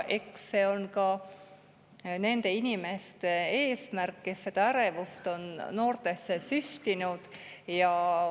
Eks see on ka nende inimeste eesmärk, kes seda ärevust on noortesse süstinud.